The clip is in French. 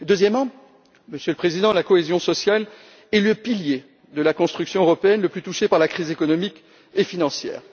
Deuxièmement, Monsieur le Président, la cohésion sociale est le pilier de la construction européenne le plus touché par la crise économique et financière.